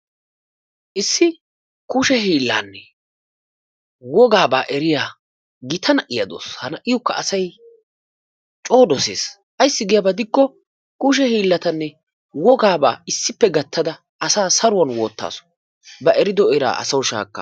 Issi kushe hiillaani wogaabaa eriya gita na'iya de'awusu. Ha na'iyokka asay coo dosees. Ayssi giyaba gidikko kushe hiillatanne wogaabaa gattada asaa saruwan wottaasu. Ba erido eraa asawu shaakka,,